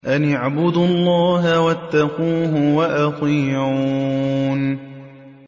أَنِ اعْبُدُوا اللَّهَ وَاتَّقُوهُ وَأَطِيعُونِ